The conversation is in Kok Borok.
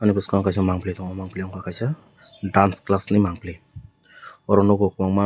ani boskango kaisa mangpholoi tango mangpholoi ungka kaisa dance class ni mangpholoi oro nogo kobangma.